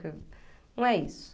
Não é isso.